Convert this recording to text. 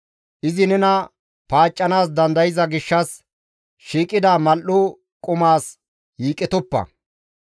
Izi nena paaccanaas dandayza gishshas, shiiqida mal7o qumas yiiqetoppa.